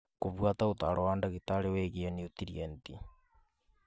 Gũbuata ũtaaro wa ndagĩtarĩ wĩgie niutrienti.